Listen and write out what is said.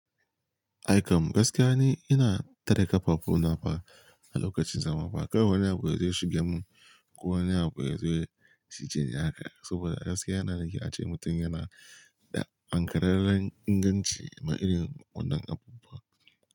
Ai kam gaskiya ni ina tare kafafu na fa a lokacin zama ba, kar wani abu yazo ya shigar mun ko wani abu yazo ya cije ni haka saboda gaskiya yana da kyau ace mutum yana da ankararen inganci ma irin wannan abubuwa.